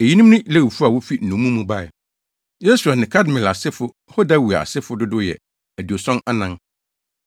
Eyinom ne Lewifo a wofi nnommum mu bae: 1 Yesua ne Kadmiel asefo (Hodawia asefo) dodow yɛ 2 74